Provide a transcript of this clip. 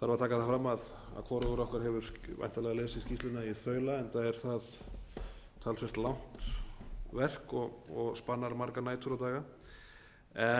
þarf að taka það fram að hvorugur okkar hefur væntanlega lesið skýrsluna í þaula enda er það talsvert langt verk og spannar margar nætur og daga